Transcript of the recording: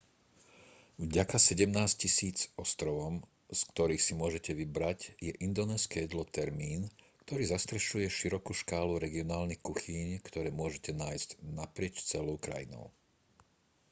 vďaka 17 000 ostrovom z ktorých si môžete vybrať je indonézske jedlo termín ktorý zastrešuje širokú škálu regionálnych kuchýň ktoré môžete nájsť naprieč celou krajinou